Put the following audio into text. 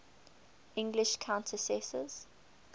english countesses